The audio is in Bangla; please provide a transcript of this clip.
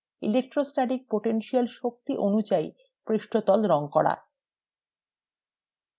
electrostatic potential শক্তি অনুযায়ী পৃষ্ঠতল রং করা